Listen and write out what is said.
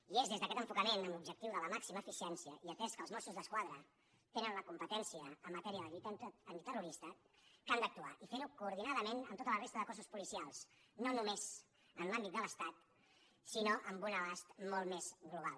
i és des d’aquest enfocament amb l’objectiu de la màxima eficiència i atès que els mossos d’esquadra tenen la competència en matèria de lluita antiterrorista que han d’actuar i fer ho coordinadament amb tota la resta de forces policials no només en l’àmbit de l’estat sinó amb un abast molt més global